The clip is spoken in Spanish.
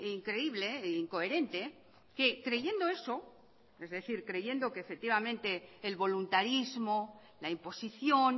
increíble e incoherente que creyendo eso es decir creyendo que efectivamente el voluntarismo la imposición